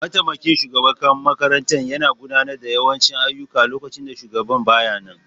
Mataimakin shugaban makaranta yana gudanar da yawancin ayyuka lokacin da shugaban ba ya nan.